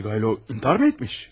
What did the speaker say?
Svidrigaylov intihar mı etmiş?